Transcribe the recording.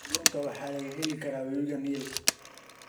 Kalluunka waxaa laga heli karaa webiga Niil.